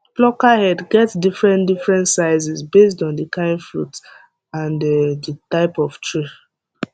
plucker head get different different sizes based on the kind fruit and the type of tree